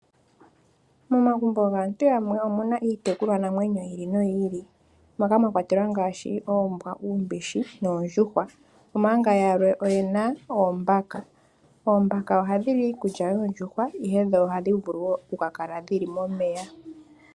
Momagumbo gaantu yamwe omu na iitekulwa namwenyo ya yooloka moka mwa kwatelwa ngaashi oombwa, uumbishi noondjuhwa omanga yalwe oye na oombaka ndhoka hadhi li iikulya yoondjuhwa noha dhi vulu wo okukala dhili momeya.